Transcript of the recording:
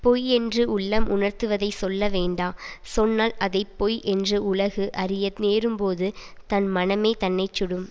பொய் என்று உள்ளம் உணர்த்துவதைச் சொல்ல வேண்டா சொன்னால் அதை பொய் என்று உலகு அறிய நேரும்போது தன் மனமே தன்னை சுடும்